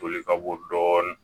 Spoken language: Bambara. Toli ka bɔ dɔɔnin